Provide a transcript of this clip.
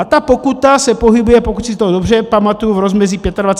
A ta pokuta se pohybuje, pokud si to dobře pamatuji, v rozmezí 25 až 50 tisíc?